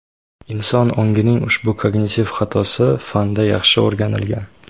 Inson ongining ushbu kognitiv xatosi fanda yaxshi o‘rganilgan.